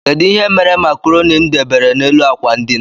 Kedụ ihe mere macroni mụ debere n' élú akwa ndina?